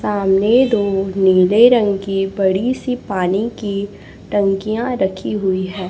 सामने दो नीले रंग की बड़ी सी पानी की टंकियां रखी हुई है।